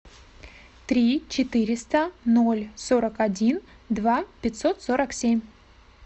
три четыреста ноль сорок один два пятьсот сорок семь